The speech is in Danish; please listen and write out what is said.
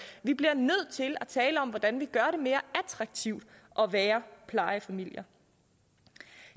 vi bliver nødt til at tale om hvordan vi gør det mere attraktivt at være plejefamilie